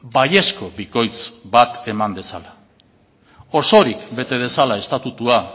baiezko bikoitz bat eman dezala osorik bete dezala estatutua